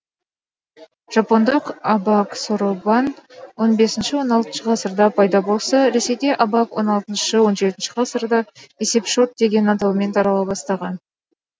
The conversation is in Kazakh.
жапондық абак соробан он бесінші он алтыншы ғасырда пайда болса ресейде абак он алтыншы он жетінші ғасырда есепшот деген атаумен тарала бастаған